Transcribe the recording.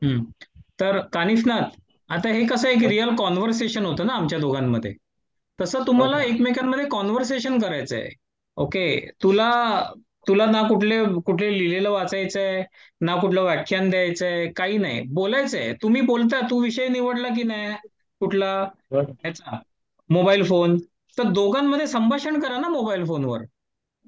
हमम तर कानिशनाथ हे कस रियल कान्वरसेशन होत ना आमच्या दोघांमध्ये तसं तुम्हाला एकमेकांमध्ये कान्वरसेशन करायचं आहे. ओके तुला ना कुठलं लिहलेलं वाचायचं आहे ना कुठलं व्याख्यान द्यायचं आहे काही नाही बोलयच आहे बोलतंय तुम्ही कोणता तू विषय निवडला की नाय? कुठला याच मोबाईल चामोबाईल फोन तर दोघांमध्ये संभाषण करा ना मोबाईल फोन वर